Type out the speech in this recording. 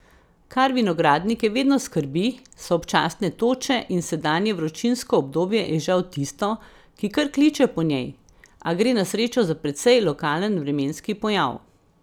Kar vinogradnike vedno skrbi, so občasne toče in sedanje vročinsko obdobje je žal tisto, ki kar kliče po njej, a gre na srečo za precej lokalen vremenski pojav.